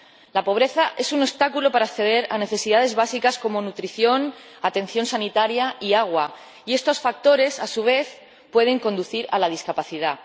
La pobreza es un obstáculo para acceder a necesidades básicas como nutrición, atención sanitaria y agua y estos factores, a su vez, pueden conducir a la discapacidad.